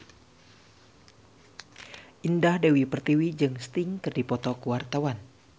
Indah Dewi Pertiwi jeung Sting keur dipoto ku wartawan